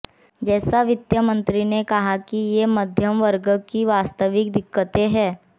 जैसा वित्त मंत्री ने कहा कि ये मध्यम वर्ग की वास्तविक दिक्कतें है